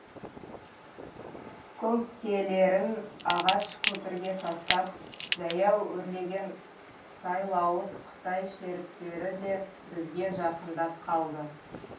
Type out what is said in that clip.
көңкелерін ағаш көпірге тастап жаяу өрлеген сайлауыт қытай шеріктері де бізге жақындап қалды